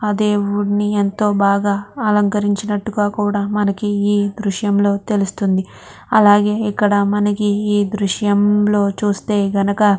ఆ దేవిడ్ని ఎంతో బాగా అలంకరించినట్టుగా కూడా మనకి ఈ దృశ్యంలో తెలుస్తుంది. అలాగే మనకి ఈ దృశ్యం లో చూస్తే గనక--